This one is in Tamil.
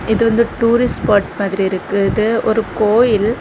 இது வந்து டூரிஸ்ட் ஸ்பாட் மாதிரி இருக்குது இது ஒரு கோயில்.